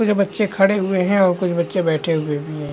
कुछ बच्चे खड़े हुए हैं और कुछ बच्चे बैठे हुए भी हैं